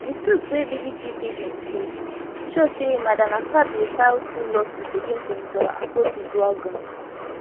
di suits wey bbc pidgin see show say madam akpabio file two lawsuits against senator akpotiuduaghan